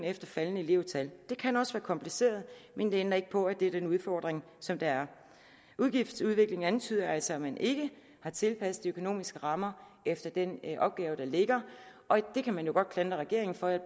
et faldende elevtal det kan også være kompliceret men det ændrer ikke på at det er den udfordring som der er udgiftsudviklingen antyder altså at man ikke har tilpasset de økonomiske rammer efter den opgave der ligger og det kan man jo godt klandre regeringen for jeg